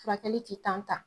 Furakɛli ti ta.